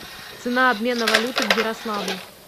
цена обмена валюты в ярославле